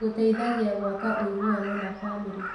Gũteithagia gwaka ũiguano na bamĩrĩ.